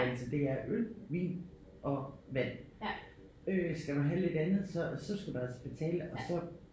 Altså det er øl vin og vand øh skal man have lidt andet så så skal du altså betale og så